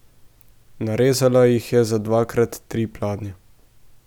Narezala jih je za dvakrat tri pladnje.